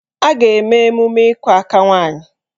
A ga-eme emume ịkụ aka nwaanyị